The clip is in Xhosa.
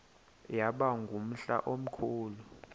yaba ngumhla omkhulu